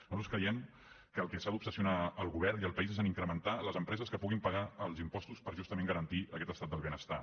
nosaltres creiem que amb el que s’ha d’obsessionar el govern i el país és a incrementar les empreses que puguin pagar els impostos per justament garantir aquest estat del benestar